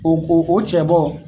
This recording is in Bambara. O o o cɛ bɔ